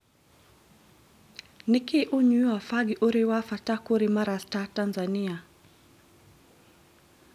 Nĩkĩ ũnyui wa bangi ũrĩ wabata kũrĩ marasta Tanzania